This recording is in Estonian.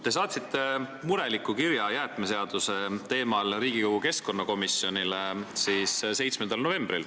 Te saatsite 7. novembril mureliku kirja jäätmeseaduse teemal Riigikogu keskkonnakomisjonile.